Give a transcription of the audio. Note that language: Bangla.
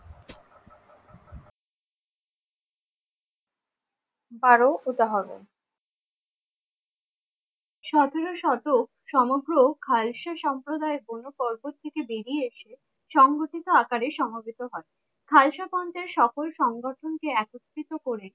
বারো উপহাগো সতেরো শতক সমগ্র খাইস্স সম্প্রদায়ের কোনো কল্পর থেকে বেরিয়ে সংগঠিত আকারে সমবেত হন থাইশাগঞ্জে সকল সংরক্ষণ কে একত্রিত করে